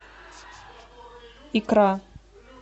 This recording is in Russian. икра